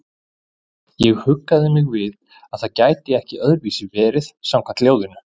Ég huggaði mig við að það gæti ekki öðruvísi verið samkvæmt ljóðinu.